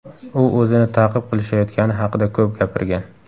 U o‘zini ta’qib qilishayotgani haqida ko‘p gapirgan.